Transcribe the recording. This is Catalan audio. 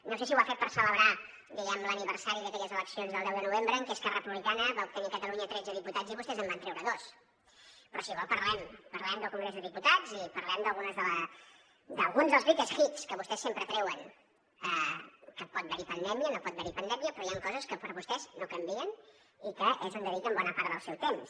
no sé si ho ha fet per celebrar diguem ne l’aniversari d’aquelles eleccions del deu de novembre en què esquerra republicana va obtenir a catalunya tretze diputats i vostès en van treure dos però si vol en parlem parlem del congrés dels diputats i parlem d’alguns dels greatest hits que vostès sempre treuen que pot haver hi pandèmia no pot haver hi pandèmia però hi han coses que per a vostès no canvien i que és on dediquen bona part del seu temps